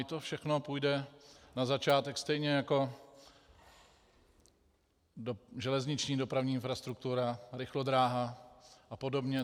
I to všechno půjde na začátek stejně jako železniční dopravní infrastruktura, rychlodráha a podobně.